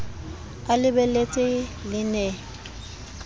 a le lebeletse le ne